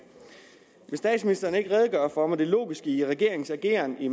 vil statsministeren ikke redegøre for det logiske i regeringens ageren i